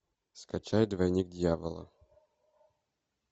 скачай двойник дьявола